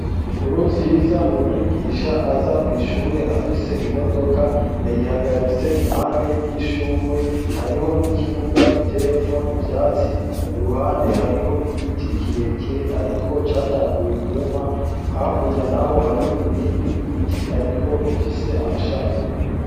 Nkuru nziza ni umwigisha aza kw'ishure afise imodoka yayihagaritse impande y'ishurwe hariho n'ikibuga giteyemwo ivyatsi i ruhande hariho igiti kirekire, ariko catanguye kuma hakurya, naho hariho ibindi biti, ariko bifise amashami.